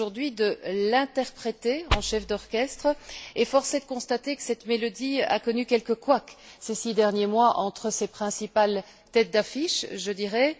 de l'interpréter en chef d'orchestre, et force est de constater que cette mélodie a connu quelques couacs, ces six derniers mois, entre ses principales têtes d'affiche, je dirais.